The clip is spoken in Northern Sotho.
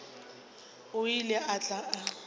o ile a tla a